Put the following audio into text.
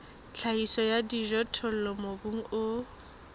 tlhahiso ya dijothollo mobung o